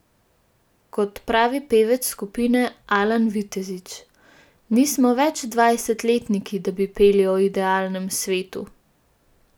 Kot pravi pevec skupine Alan Vitezič: "Nismo več dvajsetletniki, da bi peli o idealnem svetu.